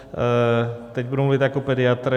Teď budu mluvit jako pediatr.